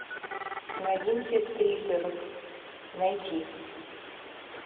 новинки триллеров найти